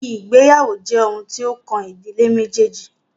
Ìgbéyàwó jẹ́ oun tí o kàn ìdílé méjèèjì.